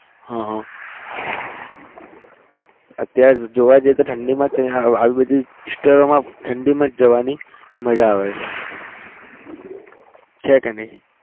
હા હા અત્યારે જોવા જઈએ તો ઠંડીમાં આવી બધી વિસ્તારોમાં ઠંડીમાં જ જવાની મજા આવે છે છે કે નહિ?